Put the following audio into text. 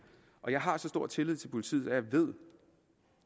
jeg har så stor tillid til politiet at jeg ved